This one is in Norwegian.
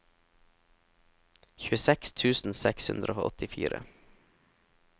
tjueseks tusen seks hundre og åttifire